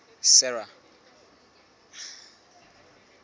sera